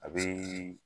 A bɛ